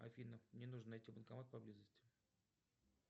афина мне нужно найти банкомат поблизости